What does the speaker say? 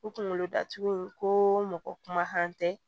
U kunkolo datugu in ko mɔgɔ kumakan tɛ